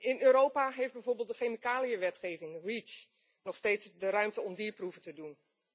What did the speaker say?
In Europa geeft bijvoorbeeld de chemicaliënwetgeving Reach nog steeds de ruimte om dierproeven te doen.